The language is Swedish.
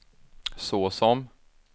såsom